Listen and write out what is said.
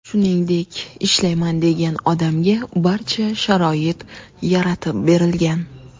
Shuningdek, ishlayman degan odamga barcha sharoit yaratib berilgan.